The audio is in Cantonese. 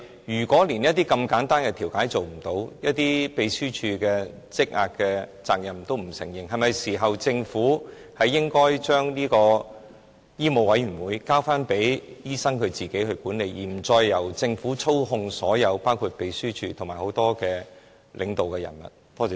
如果連這麼簡單的調解也做不到，對秘書處工作積壓的問題亦不承認責任，那麼，政府是否是時候將醫委會交回醫生自行管理，不再由政府操控，包括秘書處及多名領導人員？